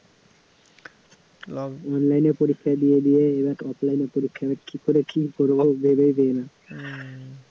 online এ পরীক্ষা দিয়ে দিয়ে এবার offline এ পরীক্ষা এবারে কী করে কী করব ভেবেই পাই না